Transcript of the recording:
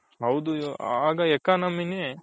ಹೌದು ಆಗ economy ನೆ